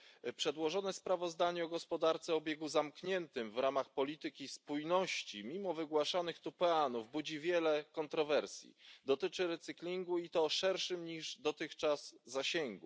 Pani Przewodnicząca! Przedłożone sprawozdanie o gospodarce o obiegu zamkniętym w ramach polityki spójności mimo wygłaszanych tu peanów budzi wiele kontrowersji. Dotyczy recyklingu i to o szerszym niż dotychczas zakresie.